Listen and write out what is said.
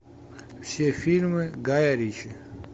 все фильмы гая ричи